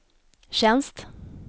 tjänst